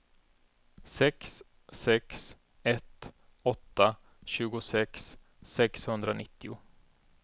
sex sex ett åtta tjugosex sexhundranittio